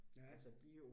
Ja